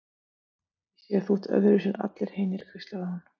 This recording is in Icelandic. Ég sé að þú ert öðruvísi en allir hinir, hvíslaði hún